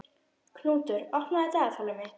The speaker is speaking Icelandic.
Knútur, opnaðu dagatalið mitt.